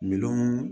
Miliyɔn